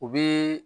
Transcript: U bi